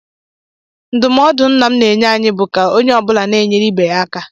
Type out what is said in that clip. Ndụmọdụ nna m na-enye anyị bụ ka onye ọ bụla na-enyere ibe ya aka.